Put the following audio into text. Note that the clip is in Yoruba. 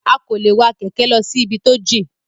A kò lè wa kẹ̀kẹ́ lọ sí ibi tó jìn.